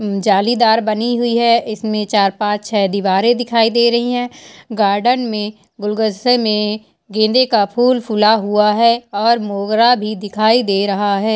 जाली दार बनी हुई है इसमें चार-पांच हैं दीवारे दिखाई दे रही हैं गार्डन में गुलगस्से में गेन्दे का फुल फुला हुआ है और मोगरा भी दिखाई दे रहा है।